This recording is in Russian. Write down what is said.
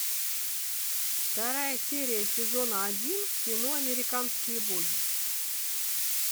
вторая серия сезона один кино американские боги